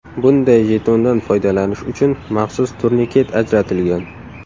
Bunday jetondan foydalanish uchun maxsus turniket ajratilgan.